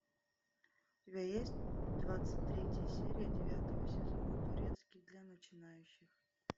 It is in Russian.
у тебя есть двадцать третья серия девятого сезона турецкий для начинающих